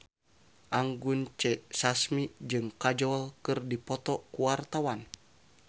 Anggun C. Sasmi jeung Kajol keur dipoto ku wartawan